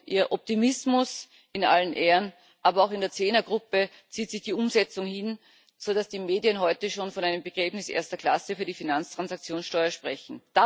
Ihr Optimismus in allen Ehren, aber auch in der Zehnergruppe zieht sich die Umsetzung hin, sodass die Medien heute schon von einem Begräbnis erster Klasse für die Finanztransaktionssteuer sprechen.